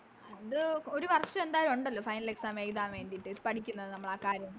അത് ഒരു വർഷം എന്തായാലും ഉണ്ടല്ലോ Final exam എഴുതാൻ വേണ്ടിട്ട് പഠിക്കുന്നത് നമ്മളാകാര്യം